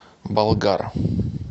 болгар